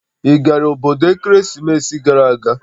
Ị gara obodo ekeresimesi gara aga?